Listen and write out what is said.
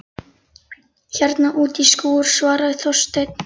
Hérna úti í skúr- svaraði Þorsteinn.